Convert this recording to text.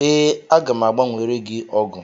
Ee, aga m a gbanwere gị ọgụ.